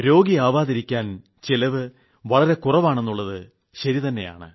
രോഗിയാവാതിരിക്കാൻ ചിലവ് വളരെ കുറവാണെന്നുളളത് ശരി തന്നെയാണ്